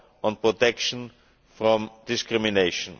law on protection from discrimination.